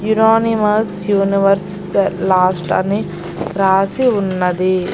Unanimous universe last అని రాసి ఉన్నది.